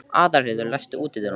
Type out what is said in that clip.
Aðalheiður, læstu útidyrunum.